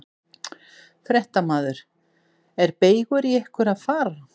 Fréttamaður: Er beygur í ykkur að fara?